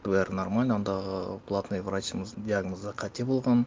бәрі нормально андағы платный врачыңыздың диагнозы қате болған